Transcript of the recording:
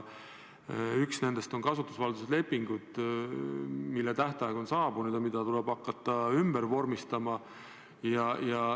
Üks nendest on kasutusvalduse leping, mille tähtaeg on saabunud ja mida tuleb hakata ümber vormistama.